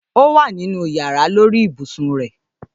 Ówà nínú yàrá, lórí ibùsùn rẹ.